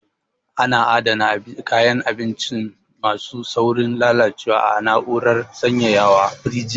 A na adana kayan abinci ma su saurin lalacewa a na'urar sanyaya wa(firinji)